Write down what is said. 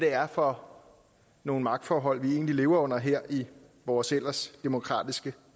er for nogle magtforhold vi lever under her i vores ellers demokratiske